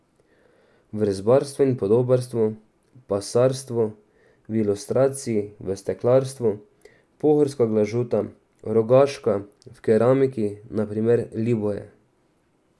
V rezbarstvu in podobarstvu, pasarstvu, v ilustraciji, v steklarstvu, pohorska glažuta, rogaška, v keramiki na primer Liboje.